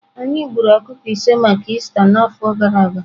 Anyị gburu ọkụkọ ise maka Ista n'afọ gara aga.